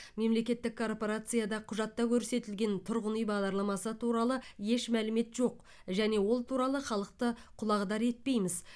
мемлекеттік корпорацияда құжатта көрсетілген тұрғын үй бағдарламасы туралы еш мәлімет жоқ және ол туралы халықты құлағдар етпейміз